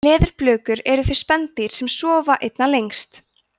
leðurblökur eru þau spendýr sem sofa einna lengst